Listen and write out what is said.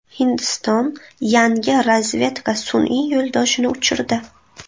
Hindiston yangi razvedka sun’iy yo‘ldoshini uchirdi.